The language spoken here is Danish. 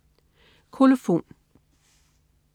Kolofon